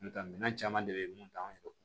N ta minɛn caman de be ye mun t'anw yɛrɛ bolo